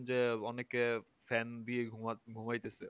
যে অনেকে fan দিয়ে ঘুমা ঘুমাইতেছে